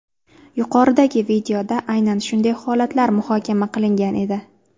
Yuqoridagi videoda aynan shunday holatlar muhokama qilingan edi.